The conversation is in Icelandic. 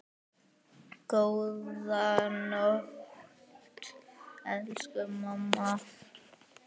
Góða nótt, elsku mamma.